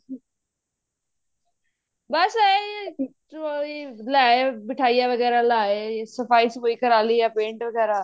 ਬੱਸ ਇਹੀ ਜੋ ਵੀ ਮਿੱਠਾਈਆਂ ਵਗੈਰਾ ਲਿਆਏ ਸਫਾਈ ਸਫ਼ੁਈ ਕਰਾਲੀ ਜਾਂ paint ਵਗੈਰਾ